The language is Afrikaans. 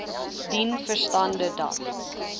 dien verstande dat